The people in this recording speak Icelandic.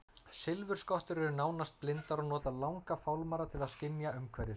Silfurskottur eru nánast blindar og nota langa fálmara til að skynja umhverfi sitt.